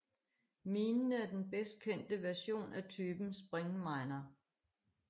Minen er den bedst kendte version af typen springminer